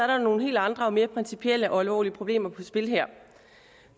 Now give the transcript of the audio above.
der nogle helt andre og mere principielle og alvorlige problemer på spil her